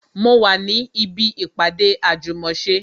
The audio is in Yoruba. Mo wà ní ibi ìpàdé àjùmòse